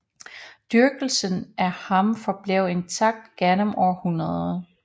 Dyrkelsen af ham forblev intakt gennem århundrerne